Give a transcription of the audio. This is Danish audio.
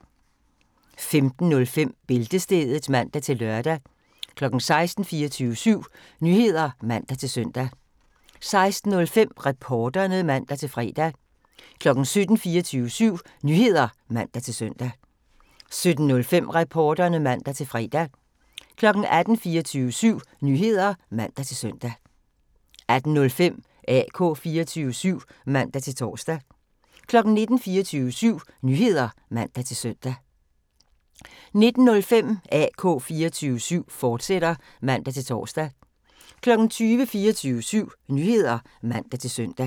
15:05: Bæltestedet (man-lør) 16:00: 24syv Nyheder (man-søn) 16:05: Reporterne (man-fre) 17:00: 24syv Nyheder (man-søn) 17:05: Reporterne (man-fre) 18:00: 24syv Nyheder (man-søn) 18:05: AK 24syv (man-tor) 19:00: 24syv Nyheder (man-søn) 19:05: AK 24syv, fortsat (man-tor) 20:00: 24syv Nyheder (man-søn)